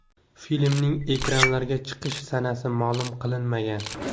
Filmning ekranlarga chiqish sanasi ma’lum qilinmagan.